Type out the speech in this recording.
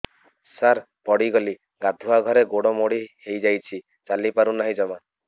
ସାର ପଡ଼ିଗଲି ଗାଧୁଆଘରେ ଗୋଡ ମୋଡି ହେଇଯାଇଛି ଚାଲିପାରୁ ନାହିଁ ଜମା